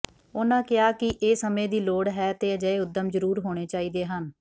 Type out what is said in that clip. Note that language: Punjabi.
ਉਨ੍ਹਾਂ ਕਿਹਾ ਕਿ ਇਹ ਸਮੇਂ ਦੀ ਲੋੜ ਹੈ ਤੇ ਅਜਿਹੇ ਉੱਦਮ ਜ਼ਰੂਰ ਹੋਣੇ ਚਾਹੀਦੇ ਹਨ